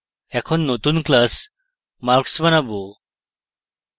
এখন নতুন class marks বানাবো